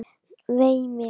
Vei mér.